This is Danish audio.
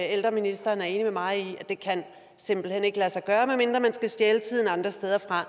ældreministeren er enig med mig i simpelt hen ikke kan lade sig gøre medmindre man skal stjæle tiden andre steder fra